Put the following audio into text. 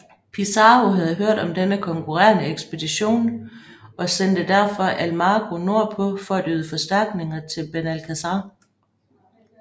Pizarro havde hørt om denne konkurrerende ekspedition og sendte derfor Almagro nord på for at yde forstærkning til Benalcázar